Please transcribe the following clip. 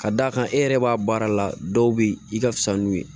Ka d'a kan e yɛrɛ b'a baara la dɔw be yen i ka fisa n'u ye